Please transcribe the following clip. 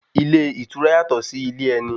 Ilé ìtura yàtọ̀ sí ilé ẹni.